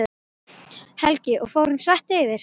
Helgi: Og fór hann hratt yfir?